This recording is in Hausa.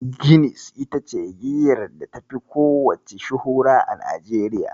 Guinness ita ce giyar da tafi kowacce shuhura a Najeriya.